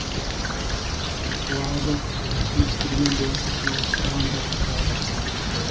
оларды түйістірген де тоғыстырған да тағдыр